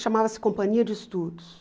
Chamava-se Companhia de Estudos.